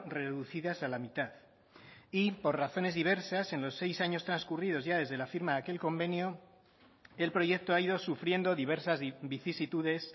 reducidas a la mitad y por razones diversas en los seis años transcurridos ya desde la firma de aquel convenio el proyecto ha ido sufriendo diversas vicisitudes